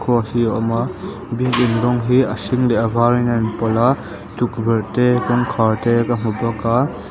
hi a awm a building rawng hi a hring leh a varin a in pawlh a tukverh te kawngkhar te ka hmu bawk a.